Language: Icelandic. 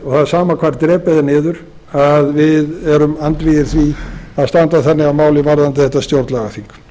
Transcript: er sama hvar drepið er niður við erum andvígir því að standa þannig að máli varðandi þetta stjórnlagaþing